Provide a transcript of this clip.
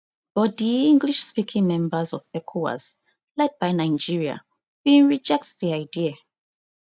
but di englishspeaking members of ecowas led by nigeria bin reject di idea